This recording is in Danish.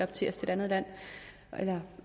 til et andet land eller